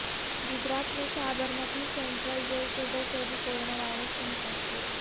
گجرات میں Sabarmati central jail کے دو قیدی کورونا وائرس سے متاثر